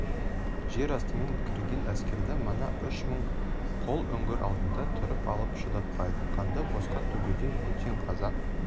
жер астымен кірген әскерді мына үш мың қол үңгір алдында тұрып алып шыдатпайды қанды босқа төгуден бөтен қазақ